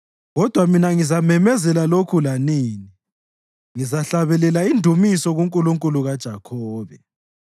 Kodwa mina ngizamemezela lokhu lanini; ngizahlabelela indumiso kuNkulunkulu kaJakhobe,